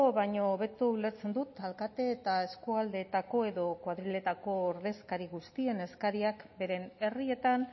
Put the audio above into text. ulertzen dut alkate eta eskualdeetako edo koadriletako ordezkari guztien eskariak beren herrietan